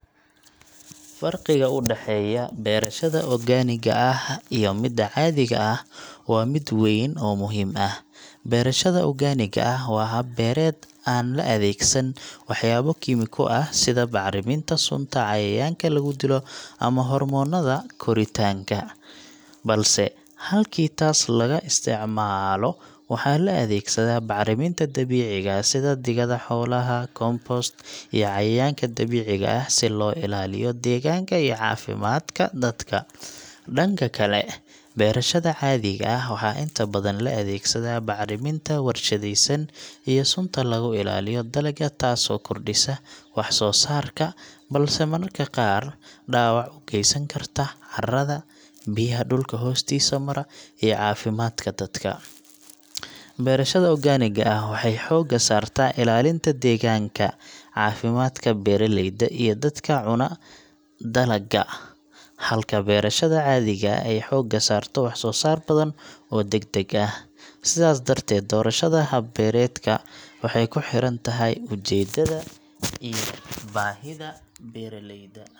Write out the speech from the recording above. Farqiga u dhexeeya beerashada organig a ah iyo midda caadiga ah waa mid weyn oo muhiim ah. Beerashada organiga ah waa hab beereed aan la adeegsan waxyaabo kiimiko ah sida bacriminta sunta cayayaanka lagu dilo ama hormoonada koritaanka, balse halkii taas laga isticmaalo waxaa la adeegsadaa bacriminta dabiiciga ah sida digada xoolaha, compost, iyo cayayaanka dabiiciga ah si loo ilaaliyo deegaanka iyo caafimaadka dadka. Dhanka kale, beerashada caadiga ah waxaa inta badan la adeegsadaa bacriminta warshadaysan iyo sunta lagu ilaaliyo dalagga, taas oo kordhisa wax-soosaarka, balse mararka qaar dhaawac u geysan karta carrada, biyaha dhulka hoostiisa mara, iyo caafimaadka dadka. Beerashada organiga ah waxay xoogga saartaa ilaalinta deegaanka, caafimaadka beeraleyda iyo dadka cuna dalagga, halka beerashada caadiga ah ay xoogga saarto wax-soo-saar badan oo degdeg ah. Sidaas darteed, doorashada hab beereedka waxay ku xiran tahay ujeeddada iyo baahida beeraleyda.